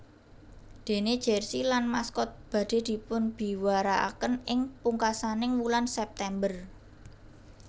Déné jersey lan maskot badhé dipunbiwarakaken ing pungkasaning wulan September